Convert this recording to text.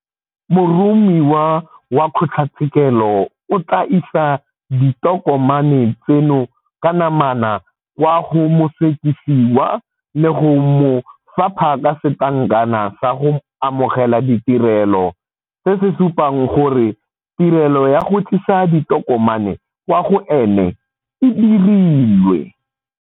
Moromiwa wa kgotlatshekelo o tla isa ditokomane tseno ka namana kwa go mosekisiwa le go mo fapha ka setlankana sa go amogela ditirelo, se se supang gore tirelo ya go tlisa ditokomane kwa go ene e dirilwe.